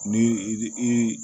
Ni i bi i